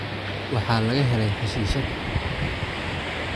Waxaa laga helay xashiishad